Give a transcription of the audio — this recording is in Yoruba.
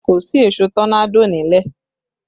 Kò sí èṣó tọ́nádò nílẹ̀